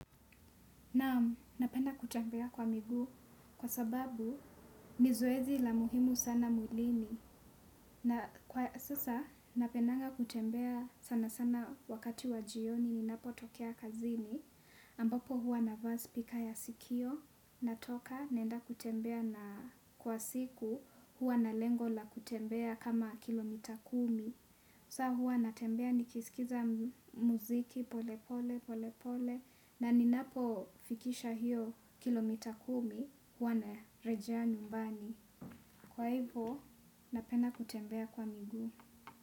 Naam napenda kutembea kwa miguu kwa sababu ni zoezi la muhimu sana mwilini. Na sasa napendanga kutembea sana sana wakati wa jioni ninapo tokea kazini. Ambapo huwa nava spika ya sikio. Natoka naenda kutembea na kwa siku huwa na lengo la kutembea kama kilomita kumi. Sa huwa natembea nikisikiza muziki pole pole pole pole. Na ninapo fikisha hiyo kilomita kumi huwa narejea nyumbani. Kwa hivo napenda kutembea kwa miguu.